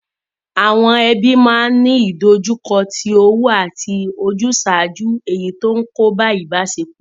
Àwon ebí ma ni ìdojúko ti owú àti ojúsàjú èyi ti o n kóbá ìbásepò